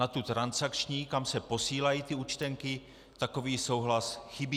Na tu transakční, kam se posílají ty účtenky, takový souhlas chybí.